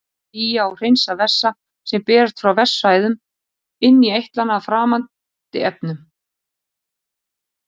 Þeir sía og hreinsa vessa sem berast frá vessaæðum inn í eitlana af framandi efnum.